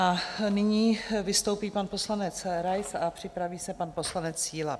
A nyní vystoupí pan poslanec Rais a připraví se pan poslanec Síla.